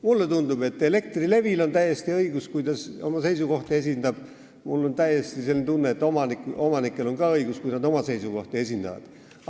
Mulle tundub, et Elektrilevil on täiesti õigus, kui ta oma seisukohti esindab, aga mul on selline tunne, et omanikel on samuti õigus, kui nad oma seisukohti esindavad.